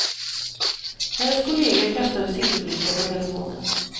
Hennes kollega kastade sidoblickar på telefonen.